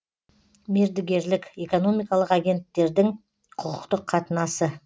мердігерлік экономикалық агенттердің құқықтық қатынасы